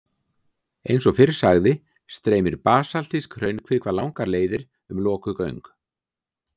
Eins og fyrr sagði streymir basaltísk hraunkvika langar leiðir um lokuð göng.